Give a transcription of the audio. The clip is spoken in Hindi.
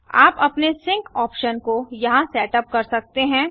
आप अपने सिंक ऑप्शन को यहाँ सेटअप कर सकते हैं